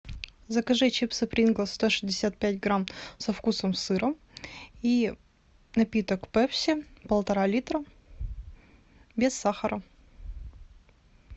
закажи чипсы принглс сто шестьдесят пять грамм со вкусом сыра и напиток пепси полтора литра без сахара